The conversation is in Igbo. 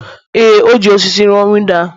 Ee, e ji osisi rụọ windo ahụ